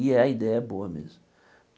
E é, a ideia é boa mesmo.